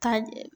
Ka